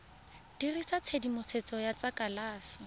dirisa tshedimosetso ya tsa kalafi